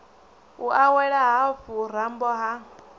u awela hafhu rambo ha